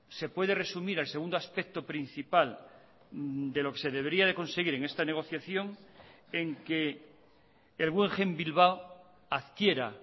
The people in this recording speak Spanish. se puede resumir el segundo aspecto principal de lo que se debería de conseguir en esta negociación en que el guggenheim bilbao adquiera